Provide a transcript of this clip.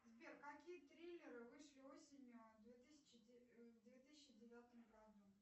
сбер какие триллеры вышли осенью в две тысячи девятом году